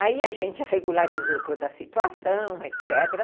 Aí a gente regularizou toda a situação, etc.